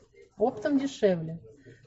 оптом дешевле